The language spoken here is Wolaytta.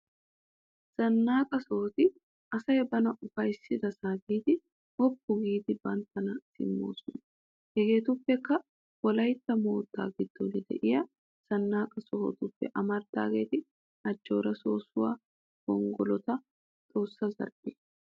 Zannaqqa sohoti asay bana uffayissidassa biidi woopu giidi banttana simmiyoosa. hegetuppekka wolaytta mootta giddon de'iyaa zannaqqa sohotuppe amarddageeti ajoora sossuwa, gonggolota, xoossa zarphiyaa.